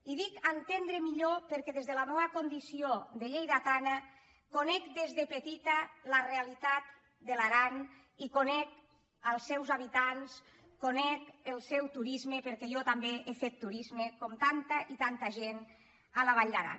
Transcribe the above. i dic entendre millor perquè des de la meua condició de lleidatana conec des de petita la realitat de l’aran i conec els seus habitants conec el seu turis·me perquè jo també he fet turisme com tanta i tanta gent a la vall d’aran